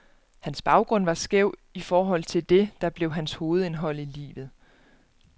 Hans baggrund var skæv i forhold til det, der blev hans hovedindhold i livet.